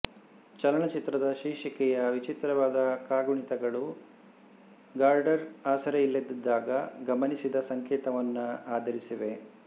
ಚಲನಚಿತ್ರದ ಶೀರ್ಷಿಕೆಯ ವಿಚಿತ್ರವಾದ ಕಾಗುಣಿತಗಳು ಗಾರ್ಡ್ನರ್ ಆಸರೆಯಿಲ್ಲದಿದ್ದಾಗ ಗಮನಿಸಿದ ಸಂಕೇತವನ್ನು ಆಧರಿಸಿವೆ